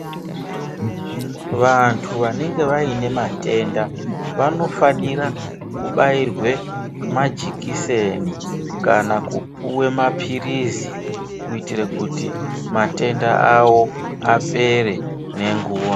Vantu vanenge vaine matenda vanofanira kubairwe majekiseni. Kana kupuve maphirizi kuitire kuti matenda avo apere nenguva.